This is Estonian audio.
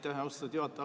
Aitäh, austatud juhataja!